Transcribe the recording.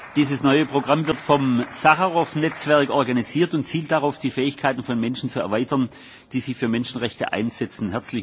Dieses neue Programm wird vom Sacharow Netzwerk organisiert und zielt darauf, die Fähigkeiten von Menschen zu erweitern, die sich für Menschenrechte einsetzen.